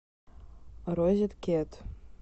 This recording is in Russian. розеткед